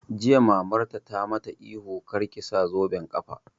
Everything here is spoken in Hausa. Jiya Mamarta ta ma ta ihu 'Kar ki sa zoben ƙafa'!